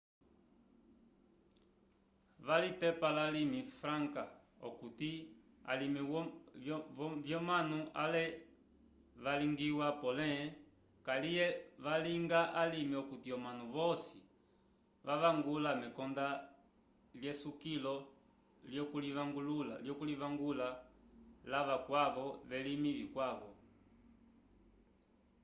valitepa lalimi franca okuti alimi vyomanu ale vyalingiwa pole kaliye vyalinga alime okuti omanu vosi vavangula mekonda lyesukilo lyokulivangula lavakwavo velimi vikwavo